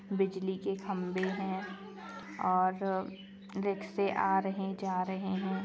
बिजली के खम्बे है और रिक्शे आ रहे जा रहे है।